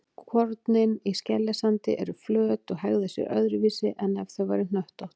Kornin í skeljasandi eru flöt og hegða sér öðruvísi en ef þau væru hnöttótt.